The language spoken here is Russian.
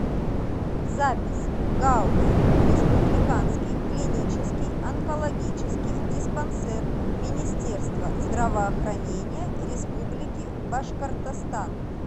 запись гауз республиканский клинический онкологический диспансер министерства здравоохранения республики башкортостан